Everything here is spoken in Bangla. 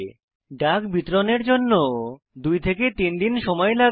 ডাক বিতরণের জন্য 2 3 দিন সময় লাগে